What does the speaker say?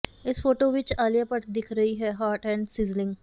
ਇਸ ਫੋਟੋ ਵਿੱਚ ਆਲਿਆ ਭੱਟ ਦਿੱਖ ਰਹੀ ਹੈ ਹਾਟ ਐਂਡ ਸਿਜ਼ਲਿੰਗ